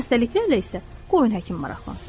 Xəstəliklərlə isə qoyun həkim maraqlansın.